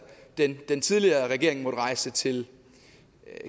den den tidligere regering måtte rejse til